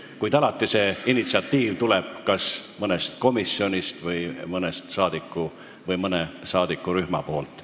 Kuid alati tuleb see initsiatiiv kas mõnest komisjonist või mõnest saadikurühmast.